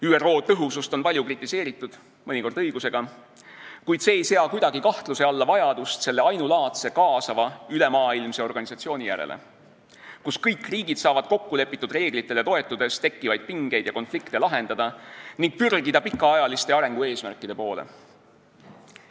ÜRO tõhusust on palju kritiseeritud – mõnikord õigusega –, kuid see ei sea kuidagi kahtluse alla vajadust selle ainulaadse kaasava ülemaailmse organisatsiooni järele, kus kõik riigid saavad kokkulepitud reeglitele toetudes lahendada tekkivaid pingeid ja konflikte ning pürgida pikaajaliste arengueesmärkide poole.